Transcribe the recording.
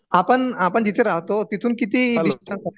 आपण आपण जिथे राहतो तिथून किती डिस्टन्स आहे